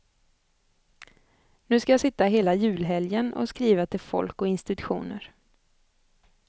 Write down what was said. Nu skall jag sitta hela julhelgen och skriva till folk och institutioner.